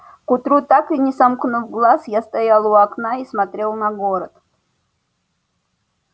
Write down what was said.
к утру так и не сомкнув глаз я стоял у окна и смотрел на город